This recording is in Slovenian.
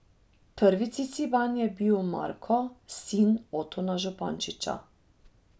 Prvi Ciciban je bil Marko, sin Otona Župančiča.